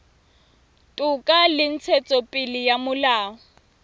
toka le ntshetsopele ya molao